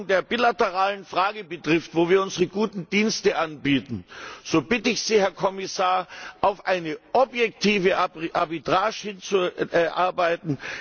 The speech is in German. Was die Lösung der bilateralen Frage betrifft, wo wir unsere guten Dienste anbieten, so bitte ich Sie, Herr Kommissar, auf eine objektive Arbitrage hinzuarbeiten.